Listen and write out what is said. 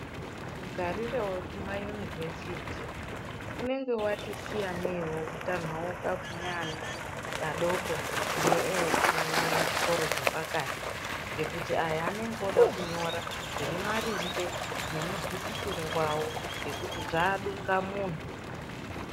Mugarire wekumainivhesiti unenge wati siyanei nekutanhauka kweana adoko neveekuchikoro chapakati. Ngekuti aya anenge wode kunyora zviri maringe nemuzwisisiro wavo ngekuti zvaadungamuntu.